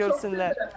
Görsünlər.